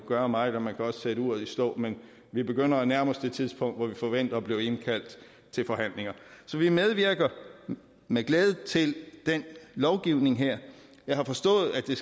gøre meget man kan også sætte uret i stå men vi begynder at nærme os det tidspunkt hvor vi forventer at blive indkaldt til forhandlinger så vi medvirker med glæde til den lovgivning her jeg har forstået at den